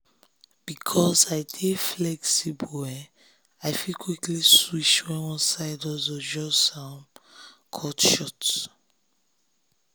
because i dey flexible i fit quickly switch when one hustle just cut short.